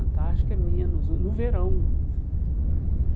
Antarctica é menos, no no verão.